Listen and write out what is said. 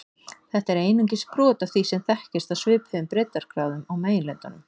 Þetta er einungis brot af því sem þekkist á svipuðum breiddargráðum á meginlöndunum.